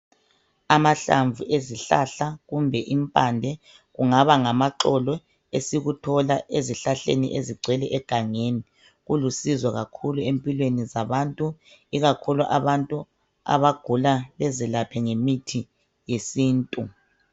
Amahlamvu ezihlahla kumbe impande kungaba ngamaxolo, esikuthola ezihlahleni ezigcwele egangeni kulusizo kakhulu empilweni zabantu ikakhulu abantu abagula bezelaphe ngemithi yesintu.